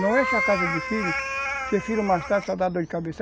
Não encha a casa de filho, porque filho mais tarde só dá dor de cabeça.